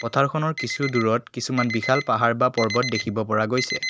পথাৰখনৰ কিছু দূৰত কিছুমান বিশাল পাহাৰ বা পৰ্বত দেখিব পৰা গৈছে।